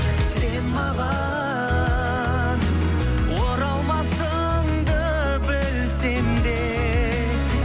сен маған оралмасыңды білсем де